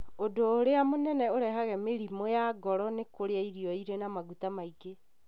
Ũndũ ũrĩa mũnene ũrehaga mĩrimũ ya ngoro nĩ kũrĩa irio irĩ na maguta maingĩ,